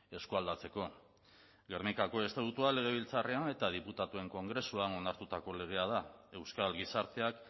eskualdatzeko gernikako estatutua legebiltzarrean eta diputatuen kongresuan onartutako legea da euskal gizarteak